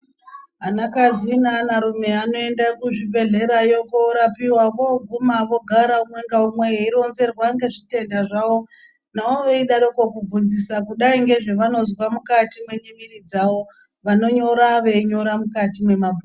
Anakadzi neana rume anoenda kuzvibhehlerayo korapiwa voguma vogara umwe ngaumwe veironzerwa ngezvitenda zvawo. Navo veidarokwo kubvunzisa kudai ngezvavanozwa mukati memiviri dzavo vanonyora veinyora mukati mwemabhuku.